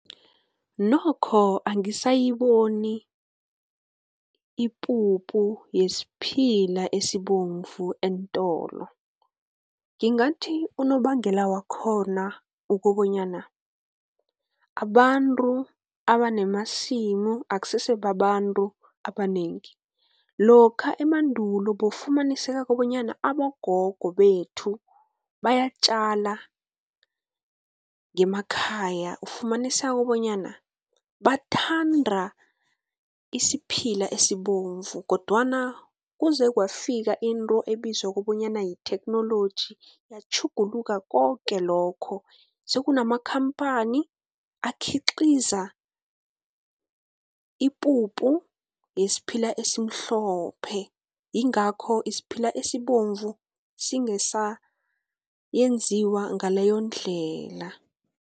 Nokho angisayiboni ipuphu yesiphila esibovu eentolo. Ngingathi unobangela wakhona ukobonyana, abantu abanamasimu akusese babantu abanengi. Lokha emandulo bowufumaniseka kobonyana abogogo bethu, bayatjala ngemakhaya, ufumaniseka bonyana bathanda isiphila esibovu, kodwana kuze kwafika into ebizwa kobonyana yitheknoloji, yatjhuguluka koke lokho. Sekunamakhamphani akhiqiza ipupu yesiphila esimhlophe, yingakho isiphila esibovu singenziwa ngaleyo ndlela.